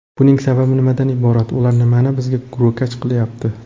Buning sababi nimadan iborat, ular nimani bizga ro‘kach qilyapti?